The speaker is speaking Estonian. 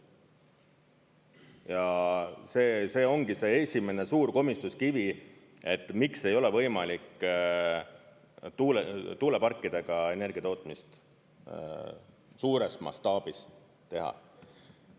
Ja see ongi see esimene suur komistuskivi, et miks ei ole võimalik tuuleparkidega energiatootmist suures mastaabis teha.